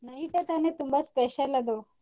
Night ಏ ತಾನೇ ತುಂಬಾ special ಅದು.